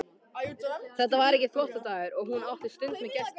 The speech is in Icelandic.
Þetta var ekki þvottadagur og hún átti stund með gesti.